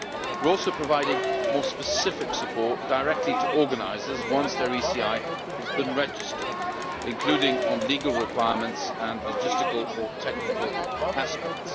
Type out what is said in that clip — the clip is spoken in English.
We are also providing more specific support directly to organisers once their ECI has been registered, including on legal requirements and logistical or technical aspects.